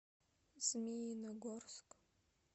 змеиногорск